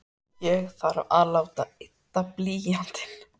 Ég þarf að láta ydda blýantinn.